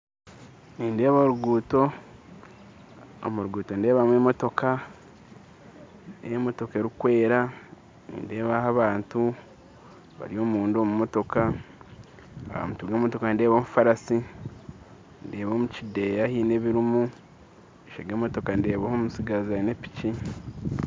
Nindeeba orugutto omurugutto nindebamu emotoka n'emotoka erukwera nindebaho abantu bari omunda omumotoka ahamutwe gw'emotoka nindebaho omufarasi ndeeba omukideya hiine ebirumu omumaisho g'emotoka ndeebaho omutsigazi aine piki.